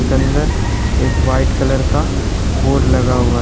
अंदर एक white colour का बोर्ड लगा हुआ--